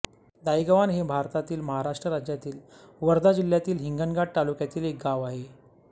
दायगव्हाण हे भारतातील महाराष्ट्र राज्यातील वर्धा जिल्ह्यातील हिंगणघाट तालुक्यातील एक गाव आहे